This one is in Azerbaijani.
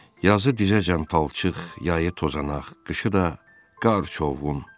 Yazı dizəcən palçıq, yayı tozanaq, qışı da qar-çovğun.